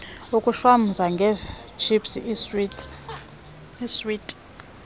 ukushwamza ngeetships iiswiti